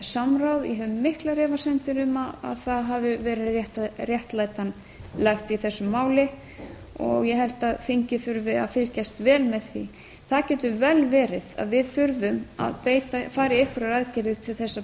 samráð ég hef miklar efasemdir um að það hafi verið réttlætanlegt í þessu máli ég held að þingið þurfi að fylgjast vel með því það getur vel verið að við þurfum að fara í einhverjar aðgerðir til þess að